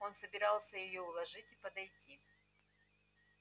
он собирался её уложить и подойти